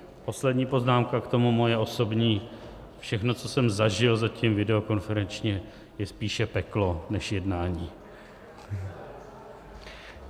Poslední poznámka k tomu, moje osobní: všechno, co jsem zažil zatím videokonferenčně, je spíše peklo než jednání.